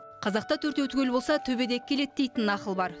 қазақта төртеу түгел болса төбедегі келеді дейтін нақыл бар